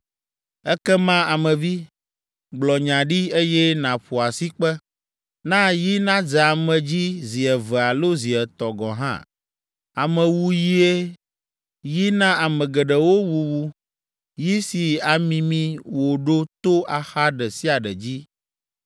“Ekema, Ame vi, gblɔ nya ɖi, eye nàƒo asikpe. Na yi nadze ame dzi zi eve alo zi etɔ̃ gɔ̃ hã. Amewuyie, yi na ame geɖewo wuwu, yi si amimi wo ɖo to axa ɖe sia ɖe dzi.